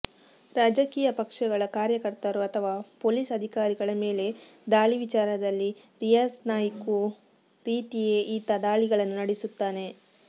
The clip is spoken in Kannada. ರಾಜಕೀಯ ಪಕ್ಷಗಳ ಕಾರ್ಯಕರ್ತರು ಅಥವಾ ಪೊಲೀಸ್ ಅಧಿಕಾರಿಗಳ ಮೇಲೆ ದಾಳಿ ವಿಚಾರದಲ್ಲಿ ರಿಯಾಜ್ ನಾಯ್ಕೂ ರೀತಿಯೇ ಈತ ದಾಳಿಗಳನ್ನು ನಡೆಸುತ್ತಾನೆ